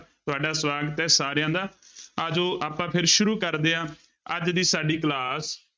ਤੁਹਾਡਾ ਸਵਾਗਤ ਹੈ ਸਾਰਿਆਂ ਦਾ ਆ ਜਾਓ ਆਪਾਂ ਫਿਰ ਸ਼ੁਰੂ ਕਰਦੇ ਹਾਂ ਅੱਜ ਦੀ ਸਾਡੀ class